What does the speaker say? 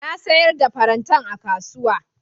Na siyar da farantan a kasuwa.